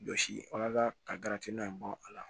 Jɔsi wala ka in bɔ a la